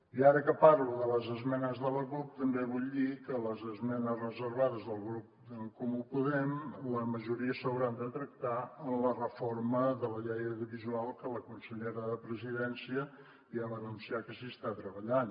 i ara que parlo de les esmenes de la cup també vull dir que les esmenes reservades del grup d’en comú podem la majoria s’hauran de tractar en la reforma de la llei audiovisual que la consellera de presidència ja va anunciar que s’hi està treballant